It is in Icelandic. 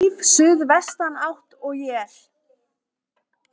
Stíf suðvestanátt og él